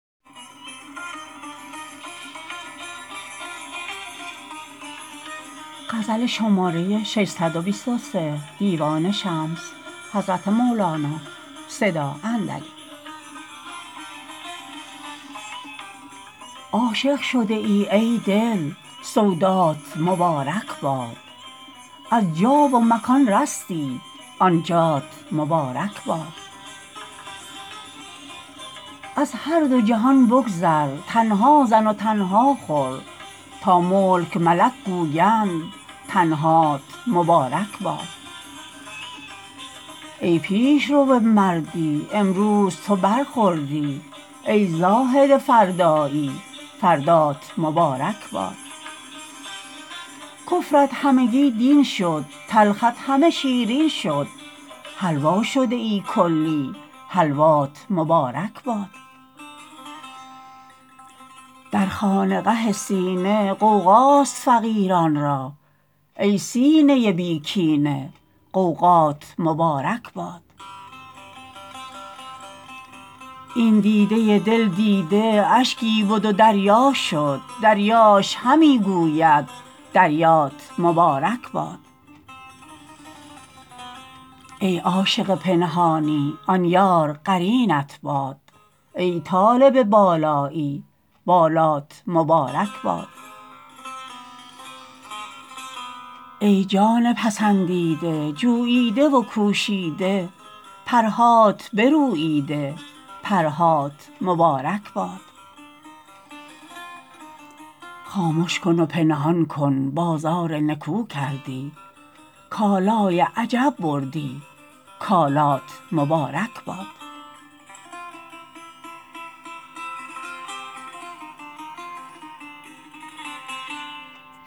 عاشق شده ای ای دل سودات مبارک باد از جا و مکان رستی آن جات مبارک باد از هر دو جهان بگذر تنها زن و تنها خور تا ملک و ملک گویند تنهات مبارک باد ای پیش رو مردی امروز تو برخوردی ای زاهد فردایی فردات مبارک باد کفرت همگی دین شد تلخت همه شیرین شد حلوا شده ای کلی حلوات مبارک باد در خانقه سینه غوغاست فقیران را ای سینه بی کینه غوغات مبارک باد این دیده دل دیده اشکی بد و دریا شد دریاش همی گوید دریات مبارک باد ای عاشق پنهانی آن یار قرینت باد ای طالب بالایی بالات مبارک باد ای جان پسندیده جوییده و کوشیده پرهات بروییده پرهات مبارک باد خامش کن و پنهان کن بازار نکو کردی کالای عجب بردی کالات مبارک باد